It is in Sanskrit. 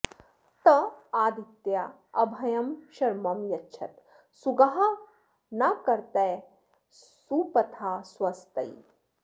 त आ॑दित्या॒ अभ॑यं॒ शर्म॑ यच्छत सु॒गा नः॑ कर्त सु॒पथा॑ स्व॒स्तये॑